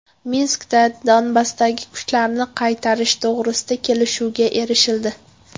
Minskda Donbassdagi kuchlarni qaytarish to‘g‘risida kelishuvga erishildi.